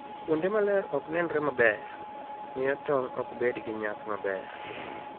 Kuonde ma ler ok nenre maber, miyo tong' ok bed gi nyak maber.